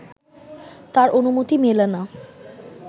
তার অনুমতি মেলে না